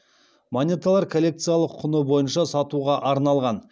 монеталар коллекциялық құны бойынша сатуға арналған